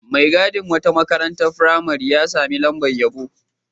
Mai gadin wata makarantar firamare ya sami lamabr yabo.